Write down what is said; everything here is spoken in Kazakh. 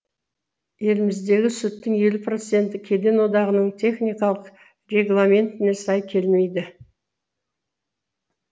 еліміздегі сүттің елу проценті кеден одағының техникалық регламентіне сай келмейді